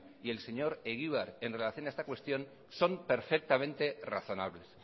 y el señor egibar en relación a esta cuestión son perfectamente razonables